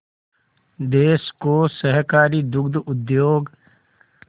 देश को सहकारी दुग्ध उद्योग